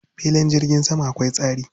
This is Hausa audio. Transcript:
Filin jirgin sama akwai tsari.